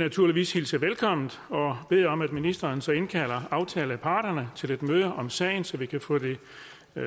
naturligvis hilse velkommen og bede om at ministeren så indkalder aftaleparterne til et møde om sagen så vi kan få det